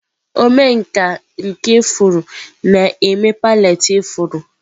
Omenkà nke ifuru na-eme palette ifuru.